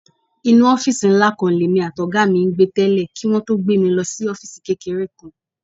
Inú ọ́fíìsì ńlá kan lèmi àtọ̀gá mi ń gbé tẹ́lẹ̀ kí wọn tó gbé mi lọ sí ọ́fíìsì kékeré kan.